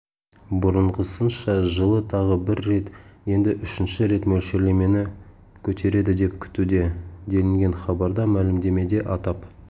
бұрынғысынша жылы тағы бір рет енді үшінші рет мөлшерлемені көтереді деп күтуде делінген хабарда мәлімдемеде атап